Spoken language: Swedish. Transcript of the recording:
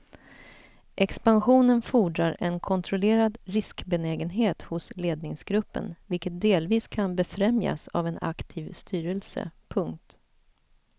Expansionen fordrar en kontrollerad riskbenägenhet hos ledningsgruppen vilket delvis kan befrämjas av en aktiv styrelse. punkt